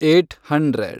eight hundred